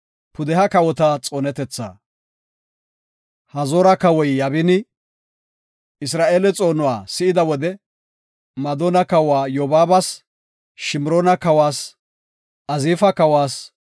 Hazoora kawoy Yaabini, Isra7eeleta xoonuwa si7ida wode Madoona kawa Yobaabas, Shimroona kawas, Azifa kawas,